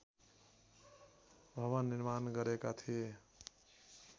भवन निर्माण गरेका थिए